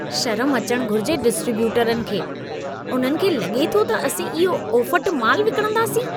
शर्म अचण घुरिजे डिस्ट्रीब्यूटरनि खे! उन्हनि खे लॻे थो त असीं इहो ओफटु माल विकिणंदासीं।